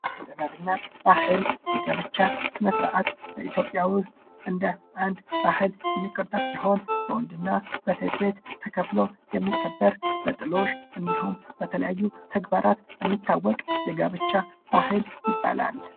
እምነት እና ባህል የጋብቻ ስነስርዓት በኢትዮጵያ ዉስጥ እንደ አንድ ባህል የሚቆጠር ሲሆን በወንድ እና በሴት ተከፍሎ የሚከበር በጥሎሽ እንዲሁም በተለያዩ ተግባራት የሚታወቅ የጋብቻ ባህል ይባላል።